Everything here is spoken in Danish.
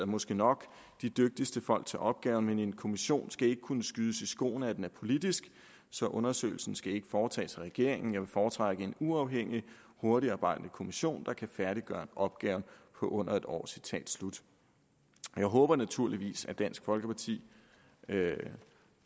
måske nok de dygtigste folk til opgaven men en kommission skal ikke kunne skydes i skoene at den er politisk så undersøgelsen skal ikke foretages af regeringen jeg vil foretrække en uafhængig hurtigarbejdende kommission der kan færdiggøre opgaven på under et år jeg håber naturligvis at dansk folkeparti